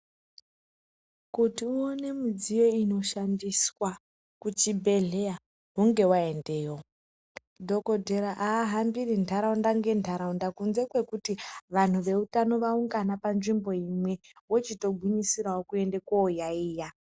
Kuti uone midziyo inoshandiswa kuchibhendleya hunge waendayo. Dhokodhera aahambiri nharaunda ngenharaunda kunze kwekuti vanhu veutano vaungana panzvimbo imwe vochitogwinyisirawo kuenda kooyaiya.